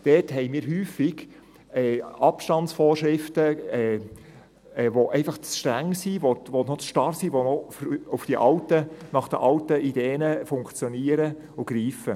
Dort haben wir häufig Abstandsvorschriften, welche einfach zu streng sind, welche noch zu starr sind, welche nach den alten Ideen funktionieren und greifen.